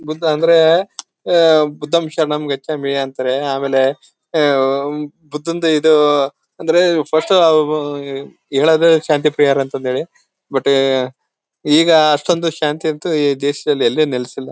ಬುದ್ಧ ಅಂದ್ರೆ ಯೇ ಬುದ್ದಂ ಶರಣಂ ಗಚ್ಚಾಮಿ ಅಂತಾರೆ ಆಮೇಲೆ ಆಹ್ಹ್ ಬುದ್ದನ್ಡ್ ಇದು ಅಂದ್ರೆ ಫಸ್ಟ್ ಅವ್ರು ಹೇಳೋದೇ ಶಾಂತಿಪ್ರಿಯರು ಅಂತ ಹೇಳಿ ಬಟ್ ಈಗ ಅಷ್ಟೊಂದು ಶಾಂತಿ ಅಂತೂ ದೇಶದಲ್ಲಿ ಎಲ್ಲೂ ನೆಲೆಸಿಲ್ಲ .